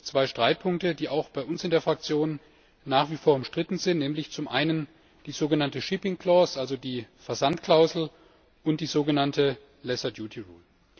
Aber es gibt zwei Streitpunkte, die auch bei uns in der Fraktion nach wie vor umstritten sind, nämlich zum einen die sogenannte shipping clause also die Versandklausel, und die sogenannte lesser duty rule.